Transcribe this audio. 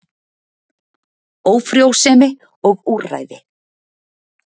Ófrjósemi og úrræði.